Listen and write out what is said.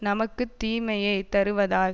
நமக்கு தீமையே தருவதால்